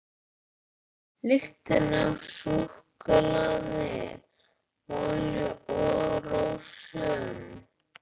Lyktin af súkkulaði, olíu og rósum.